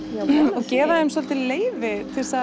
og gefa þeim svolítið leyfi til að